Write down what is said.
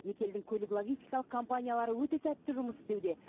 екі елдің көлік логистикалық компаниялары өте сәтті жұмыс істеуде